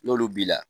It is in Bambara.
N'olu b'i la